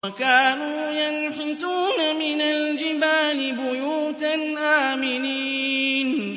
وَكَانُوا يَنْحِتُونَ مِنَ الْجِبَالِ بُيُوتًا آمِنِينَ